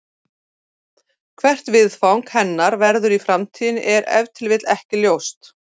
Hvert viðfang hennar verður í framtíðinni er ef til vill ekki ljóst.